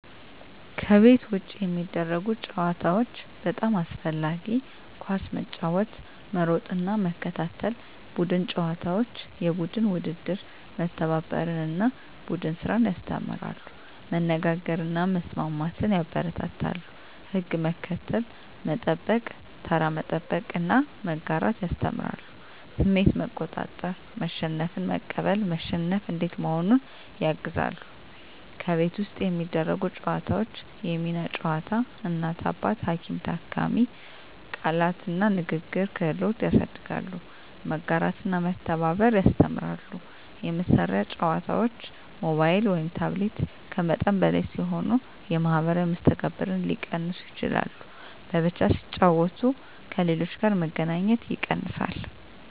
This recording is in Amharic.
ከቤት ውጭ የሚደረጉ ጨዋታዎች (በጣም አስፈላጊ) ኳስ መጫወት መሮጥና መከታተል ቡድን ጨዋታዎች (የቡድን ውድድር) መተባበርን እና ቡድን ስራን ያስተምራሉ መነጋገርን እና መስማትን ያበረታታሉ ሕግ መከተል፣ መጠበቅ (ተራ መጠበቅ) እና መጋራት ያስተምራሉ ስሜት መቆጣጠር (መሸነፍን መቀበል፣ መሸነፍ እንዴት መሆኑን) ያግዛሉ ከቤት ውስጥ የሚደረጉ ጨዋታዎች የሚና ጨዋታ (እናት–አባት፣ ሐኪም–ታካሚ) ቃላት እና ንግግር ክህሎት ያሳድጋሉ መጋራትና መተባበር ያስተምራሉ የመሳሪያ ጨዋታዎች (ሞባይል/ታብሌት) ከመጠን በላይ ሲሆኑ የማኅበራዊ መስተጋብርን ሊቀንሱ ይችላሉ በብቻ ሲጫወቱ ከሌሎች ጋር መገናኘት ይቀንሳል